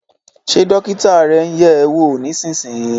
Ṣé dókítà rẹ ń yẹ̀ ẹ́ wò nísinsìnyí?